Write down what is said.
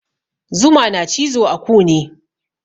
Zuma na cizo a kune